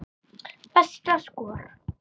Besta skor